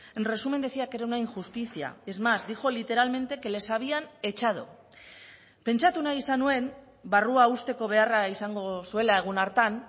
en resumen decía que era una injusticia es más dijo literalmente que les habían echado pentsatu nahi izan nuen barrua husteko beharra izango zuela egun hartan